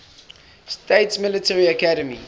states military academy